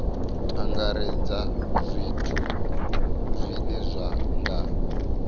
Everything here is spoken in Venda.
angaredza zwithu zwine zwa nga